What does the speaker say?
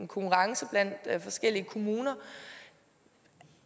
konkurrence blandt forskellige kommuner